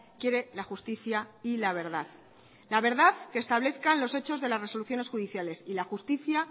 quiere la justicia y la verdad la verdad que establezcan los hechos de las resoluciones judiciales y la justicia